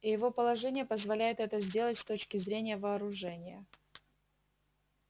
и его положение позволяет это сделать с точки зрения вооружения